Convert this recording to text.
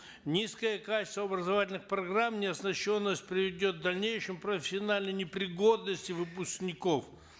низкое качество образовательных программ неоснащенность приведет к дальнейшей профессиональной непригодности выпускников